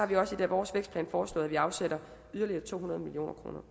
vi også i vores vækstplan foreslået at vi afsætter yderligere to hundrede million kroner